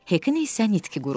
Hekin isə nitqi qurumuşdu.